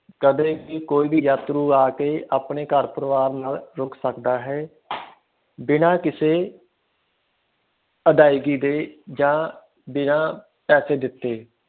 ਕਦੇ ਵੀ ਕੋਈ ਵੀ ਯਾਤਰੂ ਆਕੇ ਆਪਣੇ ਘਰ ਪਰਿਵਾਰ ਨੱਕ ਰੁਕ ਸਕਦਾ ਹੈ ਬਿਨਾ ਕਿਸੇ ਅਦਾਇਗੀ ਦੇ ਆ ਬਿਨਾ ਪੈਸੇ ਦਿੱਤੇ